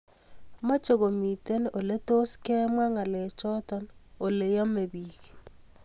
meche komiten oletos kemwaa ngalechoto oleyamei biik